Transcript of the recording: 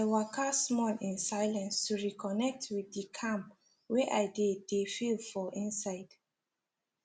i waka small in silence to reconnect with the calm wey i dey dey feel for inside